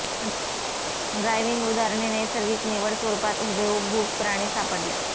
driving उदाहरणे नैसर्गिक निवड स्वरूपात हुबेहुब भूक प्राणी सापडले